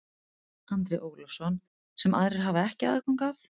Andri Ólafsson: Sem aðrir hafa ekki aðgang að?